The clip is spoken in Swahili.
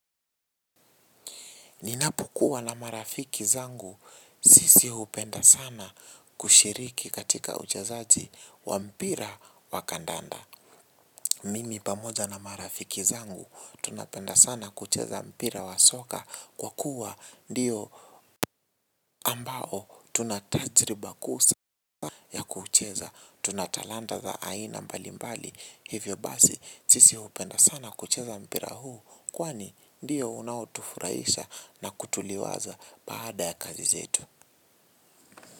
Ninapokuwa na marafiki zangu, sisi hupenda sana kushiriki katika uchezaji wa mpira wa kandanda. Mimi pamoja na marafiki zangu, tunapenda sana kucheza mpira wa soka kwa kuwa ndiyo ambao tunatajriba kusa ya kucheza. Tunatalanta za aina mbalimbali, hivyo basi, sisi hupenda sana kucheza mpira huu. Kwani ndiyo unaotufurahisha na kutuliwaza baada ya kazi zetu.